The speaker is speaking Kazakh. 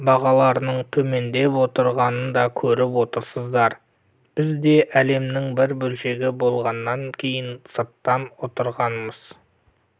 бағаларының төмендеп отырғанын да көріп отырсыздар біз де әлемнің бір бөлшегі болғаннан кейін сыртта отырғанымыз